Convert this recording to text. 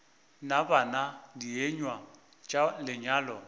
na bana dienywa tša lenyalo